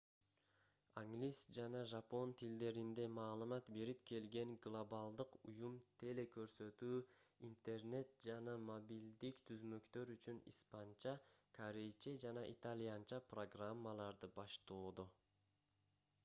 англис жана жапон тилдеринде маалымат берип келген глобалдык уюм теле-көрсөтүү интернет жана мобилдик түзмөктөр үчүн испанча корейче жана итальянча программаларды баштоодо